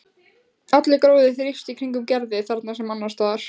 Allur gróður þrífst í kringum Gerði þarna sem annars staðar.